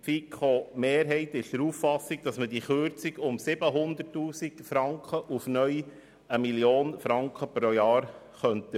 Die FiKo-Mehrheit ist der Meinung, dass man diesen Betrag um 700 000 Franken auf 1 Mio. Franken pro Jahr erhöhen könnte.